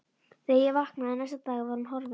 Þegar ég vaknaði næsta dag var hún horfin.